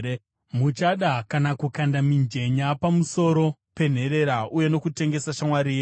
Muchada kana kukanda mijenya pamusoro penherera uye nokutengesa shamwari yenyu.